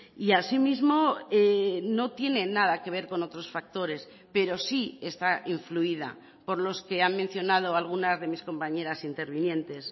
y asimismo no tiene nada que ver con otros factores pero sí está influida por los que han mencionado algunas de mis compañeras intervinientes